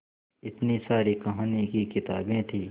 इतनी सारी कहानी की किताबें थीं